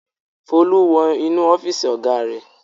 Folú wọ inú ọ́fíísì ọ̀gá rẹ̀.